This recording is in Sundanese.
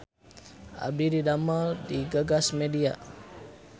Abdi didamel di Gagas Media